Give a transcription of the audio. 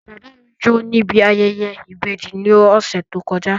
Bàbá mi jó níbi ayẹyẹ ìbejì ní ọ̀sẹ̀ tó kọjá